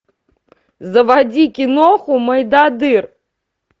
заводи киноху мойдодыр